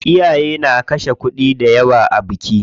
Iyaye na kashe kuɗi dayawa a biki.